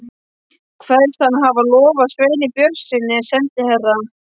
Kveðst hann hafa lofað Sveini Björnssyni, sendiherra